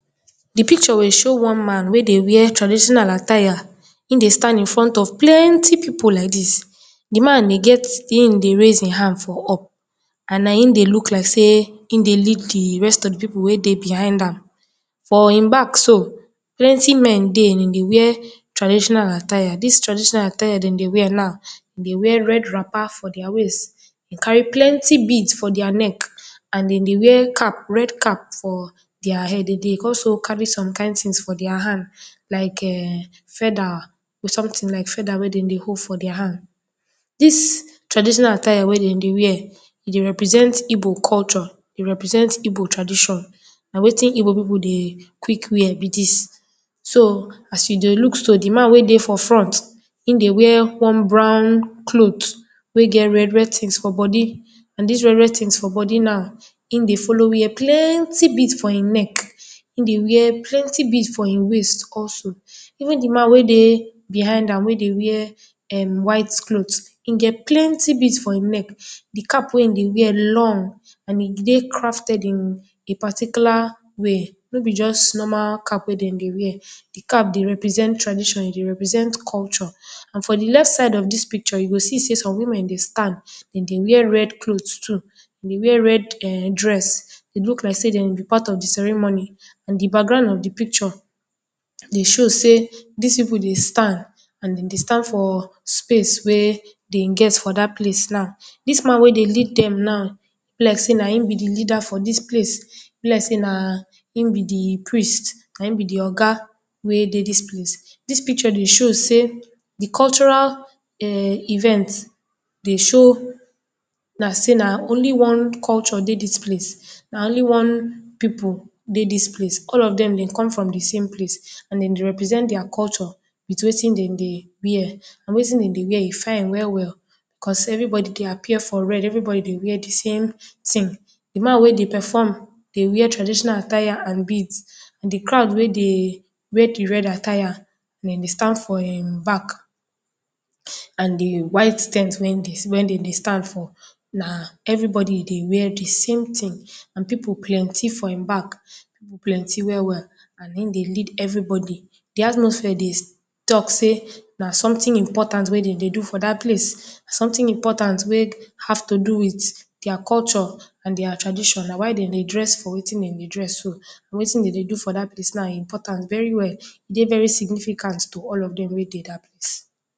Di pikcho dey show one man wey dey wear tradishonal attires, in dey stand in front of plenty pipu like dis, di man e get In dey raise in hand for up, and na in dey luk like sey in dey lid di rest of di pipu wey dey behind am, for im bak so plenti men de, dem dey wear traditional attires. Na tradishonal attires dem dey wear now, dem dey wear red rapa for dia weist, kari plenty bead for dia nek and dem dey wear red cap for dia hed, dem dey go hold somti for dia hand like feda or somtin like feda wet dem dey hold for dia hand. Dis traditional attire wey dem dey wear, e dey represent igbo kolcho, dey represent igbo tradishon, na wetin egbo pipu dey kwik wear be dis. So as you dey luk so, di man wey dey for front, dey wear one brown clot wey get red-red tins for bodi and dis red-red tins for bodi na in dey folo wear plenti bead for in nek, plenti bead for in weist. Also even the man wey dey behind am wey dey wear white clot, im get plenty bead for im nek. Di cap wey im dey wear dey long and e dey crafted in paticula way no b just nramal cap wey e dey wear. Di cap dey represent tradishon, e dey represent kolcho. And for di left side of dis pikcho, you go see sey som wumen dey stand, dem dey wear red clot too, dem dey wear red dress, e luk like sey dem be part of di ceremony and di background of di pikcho, dey show sey, dis pipu dey stand and de dey stand for space wey dem get for dat place now. Dis man wey dey lead dem now, e be like sey na in be di lida for dis place. E be like sey na in be di prince, na in be di oga wey dey dis place. Dis pikcho dey show sey di kolchora event dey show like sey na only one culture dey dis place, na only one pipu dey dis place. All dem de come from di same place. And dem dey represent dia kolcho with wetin dem dey wear. Na wetin dem dey wear e fine we-we o, becos everi bodi dey appear for red, everi bodi dey appear for red, everibodi dey wear di same tin. Di man wey dey paform dey wear traditional attire and bead and di crowed wey dey wear di red attired dem dey stand for him bak and di white ten t wey dem dey stand for na everibodi dey wear di same tin, and pipu plenty for im bak, pipu plenti we-we and im dey lead everibodi, di atmosphere dey talk sey na somtin impotant wey dem dey do for dat place. Somtin impotant wey have to do with dia kolcho and dia tradishon, na why dem dey dress for wein dem dey dress so. Wetin dem dey do for dat place na impotant very well. E dey very significant to all of dem wey dey dat place.